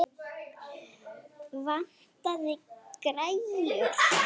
Vantaði græjur?